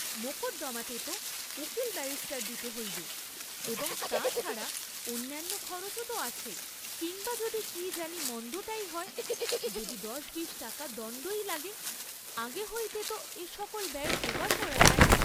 মোকদ্দমাতে তো উকিল ব্যারিষ্টার দিতে হইবে, এবং তা ছাড়া অন্যান্য খরচও তো আছে, কিম্বা যদি কি জানি মন্দটাই হয়, যদি দশ বিশ টাকা দণ্ডই লাগে, আগে হইতে ত এ সকল ব্যয়ের যোগাড় করা চাই।